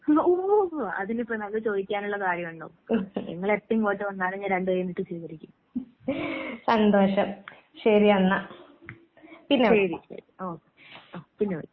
ഉവ്വ്, ഉവ്വ് അതിനിപ്പോ അത് ചോദിക്കാനുള്ള കാര്യം ഉണ്ടോ? നിങ്ങള് എപ്പോ ഇങ്ങോട്ട് വന്നാലും ഞാൻ രണ്ട് കയ്യും നീട്ടി സ്വീകരിക്കും. ശരി അന്നാ ശരി ശരി ആഹ് പിന്നെ വിളിക്ക്.